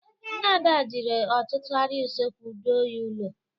Nne Ada jiri ọtụtụ arịa usekwu doo ya ụlọ.